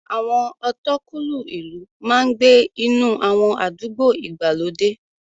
Àwọn ọ̀tọ̀kúlú ìlú máa ń gbé inú àwọn àdúgbò ìgbàlódé.